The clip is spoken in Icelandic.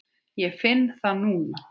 Ég finn það núna.